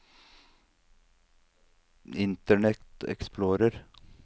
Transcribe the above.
internet explorer